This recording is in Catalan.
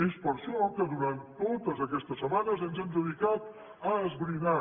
és per això que durant totes aquestes setmanes ens hem dedicat a esbrinar